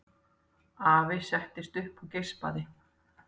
Afi settist upp og geispaði.